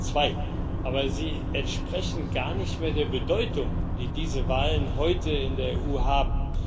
2002. Aber sie entsprechen gar nicht mehr der Bedeutung, die diese Wahlen heute in der EU haben.